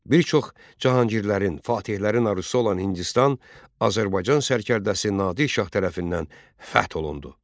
Bir çox cahangirlərin, fatehlərin arzusu olan Hindistan Azərbaycan sərkərdəsi Nadir Şah tərəfindən fəth olundu.